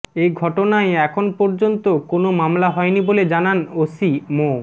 এ ঘটনায় এখন পর্যন্ত কোনো মামলা হয়নি বলে জানান ওসি মো